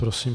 Prosím.